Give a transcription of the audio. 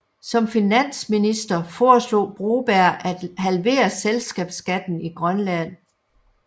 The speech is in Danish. Som finansminister foreslog Broberg at halvere selskabsskatten i Grønland